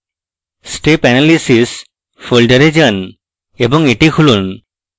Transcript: step analysis folder যান এবং এটি খুলুন